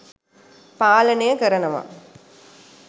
පාලනය කරනව.